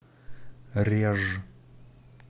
реж